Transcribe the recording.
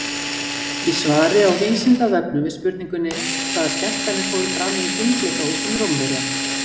Í svari á Vísindavefnum við spurningunni Hvaða skemmtanir fóru fram í hringleikahúsum Rómverja?